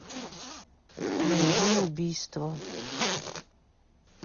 найди убийство